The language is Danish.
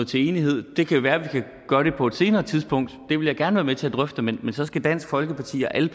til enighed det kan jo være at vi kan gøre det på et senere tidspunkt det vil jeg gerne være med til at drøfte men så skal dansk folkeparti og alle